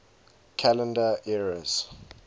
calendar eras